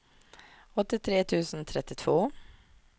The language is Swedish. åttiotre tusen trettiotvå